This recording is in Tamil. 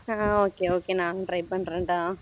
அஹ் okay okay நானும் try பண்ணுறேன் டா